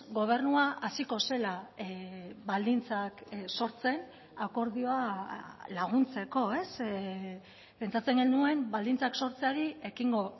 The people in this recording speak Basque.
gobernua hasiko zela baldintzak sortzen akordioa laguntzeko pentsatzen genuen baldintzak sortzeari ekingo